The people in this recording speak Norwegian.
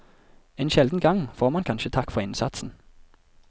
En sjelden gang får man kanskje takk for innsatsen.